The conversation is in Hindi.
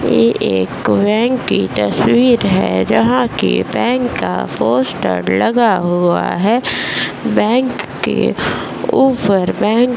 ये एक बैंक की तस्वीर है जहाँ की बैंक का पोस्टर लगा हुआ है | बैंक के ऊपर बैंक --